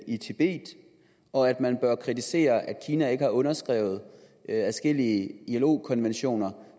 i tibet og at man bør kritisere at kina ikke har underskrevet adskillige ilo konventioner